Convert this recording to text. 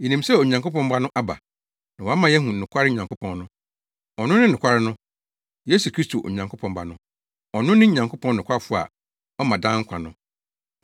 Yenim sɛ Onyankopɔn Ba no aba, na wama yɛahu nokware Nyankopɔn no. Ɔno ne nokware no, Yesu Kristo, Onyankopɔn ba no. Ɔno ne Nyankopɔn nokwafo a ɔma daa nkwa no.